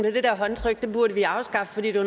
at det der håndtryk burde vi afskaffe fordi det